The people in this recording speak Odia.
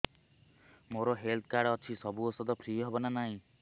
ମୋର ହେଲ୍ଥ କାର୍ଡ ଅଛି ସବୁ ଔଷଧ ଫ୍ରି ହବ ନା ନାହିଁ